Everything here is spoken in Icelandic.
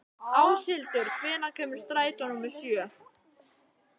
Áshildur, hvenær kemur strætó númer sjö?